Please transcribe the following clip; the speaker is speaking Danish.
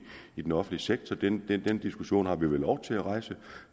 i den offentlige sektor den den diskussion har vi vel lov til at rejse